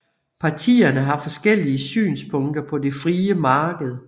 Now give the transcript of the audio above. Partierne har forskellige synspunkter på det frie marked